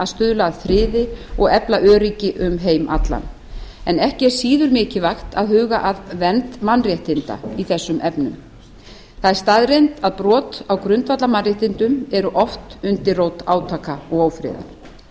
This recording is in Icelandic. stuðla að friði og efla öryggi um heim allan en ekki er síður mikilvægt að huga að vernd mannréttinda í þessum efnum það er staðreynd að brot á grundvallarmannréttindum eru oft undirrót átaka og ófriðar